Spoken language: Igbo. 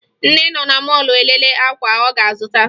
Nne nọ na mọọlụ elele akwa ọ ga-azụta